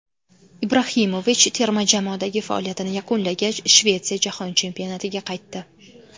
Ibrahimovich terma jamoadagi faoliyatini yakunlagach, Shvetsiya Jahon Chempionatiga qaytdi.